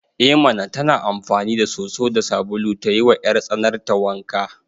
Ema tana amfani da soso da sabulu ta yiwa 'yartsanarta wanka.